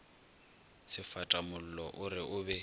sefatamollo o re o be